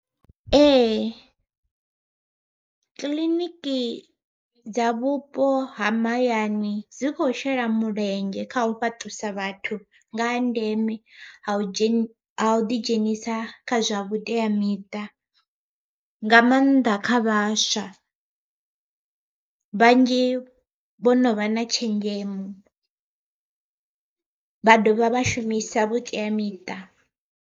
Ee kiḽiniki dza vhupo ha mahayani dzi khou shela mulenzhe kha u fhaṱusa vhathu nga ha ndeme ha u dzhena a u ḓi dzhenisa kha zwa vhuteamiṱa, nga maanḓa kha vhaswa. Vhanzhi vho no vha na tshenzhemo vha dovha vha shumisa vhuteamiṱa.